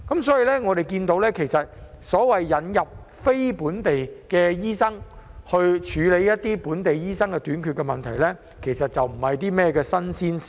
所以，我們看到，引入非本地醫生以紓緩本地醫生人手短缺的問題，其實並非新鮮事。